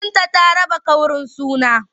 Binta ta raba ƙaurin suna.